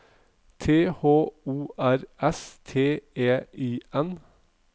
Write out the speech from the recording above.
T H O R S T E I N